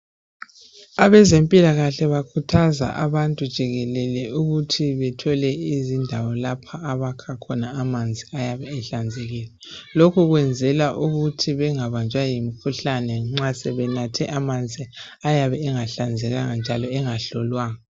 Abezempilakahle bakhuthaza abantu jikelele ukuthi bethole izindawo lapho abakha khona amanzi ayabe ehlanzekile . Lokhu kwenzelwa ukuthi bengabanjwa yimkhuhlane nxa sebenatye amanzi ayabe engahlanzekanga njalo engahlolwanga.